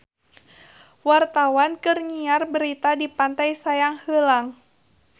Wartawan keur nyiar berita di Pantai Sayang Heulang